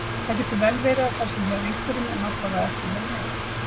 Það getur vel verið að það sé hjá einhverjum en allavega ekki hjá mér.